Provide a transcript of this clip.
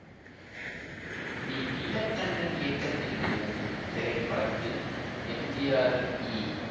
B Neelakantan இயக்கத்தில் வெளிவந்த இத்திரைப்படத்தில் எம் ஜி ஆர் ஈ